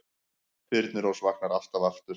Þyrnirós vaknar alltaf aftur